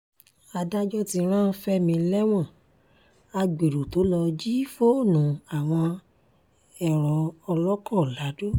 adájọ́ ti rán fẹ́mi lẹ́wọ̀n agbéró tó lọ́ọ́ jí fóònù àwọn ẹ̀rọ ọkọ̀ lado